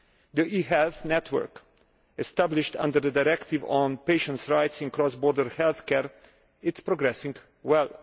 The e health network established under the Directive on patients' rights in cross border health care is progressing well.